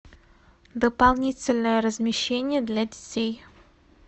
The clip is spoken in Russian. дополнительное размещение для детей